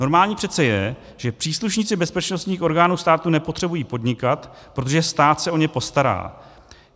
Normální přece je, že příslušníci bezpečnostních orgánů státu nepotřebují podnikat, protože stát se o ně postará.